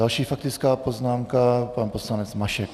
Další faktická poznámka, pan poslanec Mašek.